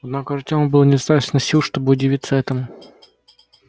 однако у артёма было недостаточно сил чтобы удивиться этому